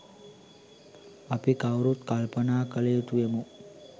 අපි කවුරුත් කල්පනා කළ යුතු වෙමු.